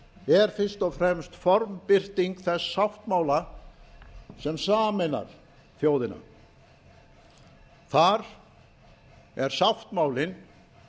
er fyrst og fremst formbirting þess sáttmála sem sameinar þjóðina þar er sáttmálinn